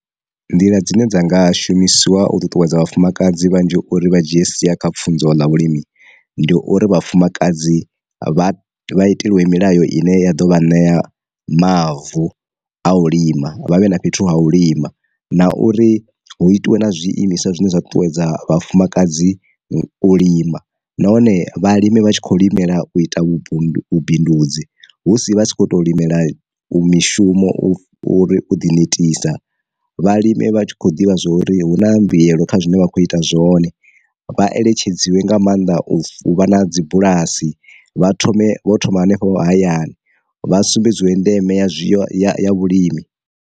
Nḓila dzine dza nga shumisiwa u ṱuṱuwedza vhafumakadzi vhanzhi uri vha dzhie sia kha pfunzo ḽa vhulimi, ndi uri vhafumakadzi vha vha itelwe milayo ine ya ḓo vha ṋea mavu a u lima vhavhe na fhethu ha u lima, na uri hu itiwe na zwiimiswa zwine zwa ṱuṱuwedza vhafumakadzi u lima nahone vhalimi vha tshi kho limela u ita vhunḓu vhu bindudzi husi vha tshi kho to limela u mishumo uri u ḓi netisa vhalime vha tshi kho ḓivha zwori hu na mbuyelo kha zwine vha kho ita zwone, vha eletshedziwa nga maanḓa u vha na dzi bulasi vha thome vho thoma hanefho hayani vha sumbedziwe ndeme ya vhulimi.